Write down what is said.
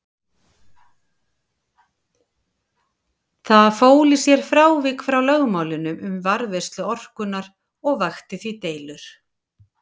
Það fól í sér frávik frá lögmálinu um varðveislu orkunnar og vakti því deilur.